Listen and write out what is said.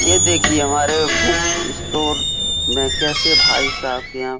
ये देखिए! हमारे बुक स्टोर में कैसे भाई साहब के यहाँ --